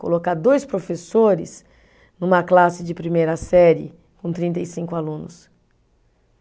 Colocar dois professores numa classe de primeira série com trinta e cinco alunos.